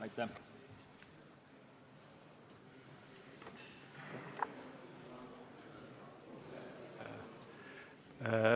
Aitäh!